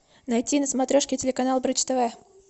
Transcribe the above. найти на смотрешке телеканал бридж тв